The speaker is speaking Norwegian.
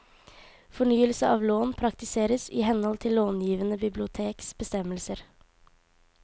Fornyelse av lån praktiseres i henhold til långivende biblioteks bestemmelser.